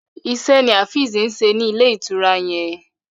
Ise ní Afeez ṣe ní Ilé-ìtura yén.